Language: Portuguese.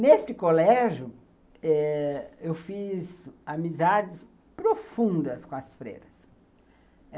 Nesse colégio eh, eu fiz amizades profundas com as freiras.